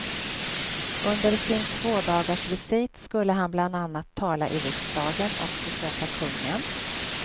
Under sin tvådagarsvisit skulle han bland annat tala i riksdagen och besöka kungen.